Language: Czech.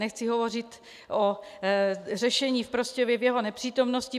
Nechci hovořit o řešení v Prostějově v jeho nepřítomnosti.